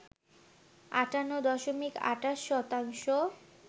৫৮ দশমিক ২৮ শতাংশ